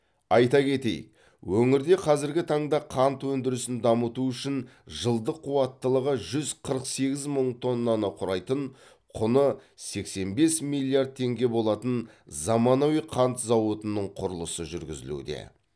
айта кетейік өңірде қазіргі таңда қант өндірісін дамыту үшін жылдық қуаттылығы жүз қырық сегіз мың тоннаны құрайтын құны сексен бес миллиард теңге болатын заманауи қант зауытының құрылысы жүргізілуде